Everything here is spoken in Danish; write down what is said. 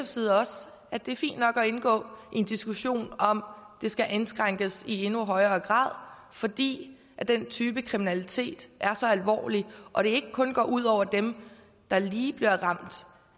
side også at det er fint nok at indgå i en diskussion om det skal indskrænkes i endnu højere grad fordi den type kriminalitet er så alvorlig og det ikke kun går ud over dem der lige bliver ramt